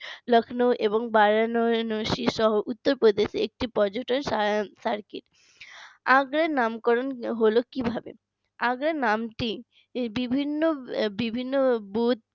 লখনও এবং বারানষী সহ উত্তরপ্রদেশে একটি পর্যটন সা circuit আগ্রার নামকরণ হল কিভাবে আগ্রা নামটি বিভিন্ন বিভিন্ন বুত